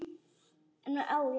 Ætlar að vera þar.